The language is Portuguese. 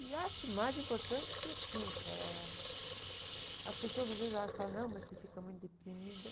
E acho que o mais importante, assim, eh, as pessoas às vezes acham, falam, não, mas você fica muito deprimida.